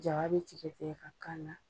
Ja bɛ tigɛtigɛ ka k'a la.